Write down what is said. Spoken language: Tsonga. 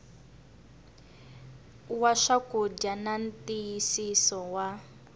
wa swakudya na ntiyisiso wa